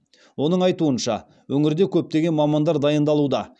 оның айтуынша өңірде көптеген мамандар дайындалуда